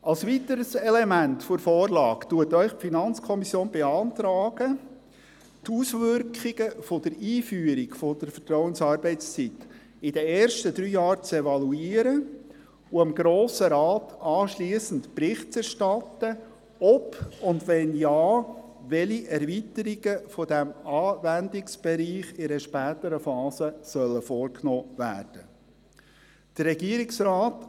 Als weiteres Element der Vorlage beantragt Ihnen die FiKo, die Auswirkungen der Einführung der Vertrauensarbeitszeit während den ersten drei Jahren zu evaluieren und dem Grossen Rat anschliessend Bericht zu erstatten, ob, und wenn ja, welche Erweiterungen dieses Anwendungsbereichs in einer späteren Phase vorgenommen werden sollen.